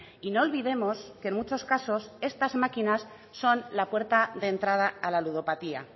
y no olvidemos que en muchos casos estas máquinas son la puerta de entrada a la ludopatía